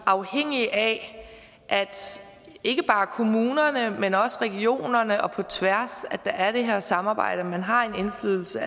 afhængige af at ikke bare kommunerne men også regionerne på tværs har det her samarbejde man har en indflydelse